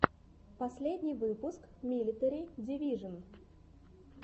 последний выпуск милитари дивижон